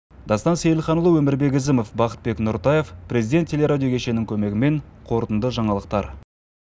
дастан сейілханұлы өмірбек ізімов бақытбек нұртаев президент телерадио кешенінің көмегімен қорытынды жаңалықтар